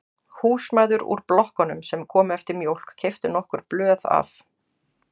Húsmæður úr blokkunum sem komu eftir mjólk keyptu nokkur blöð af